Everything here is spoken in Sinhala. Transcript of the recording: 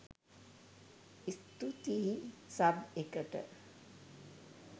ස්තුතියි සබ් එකට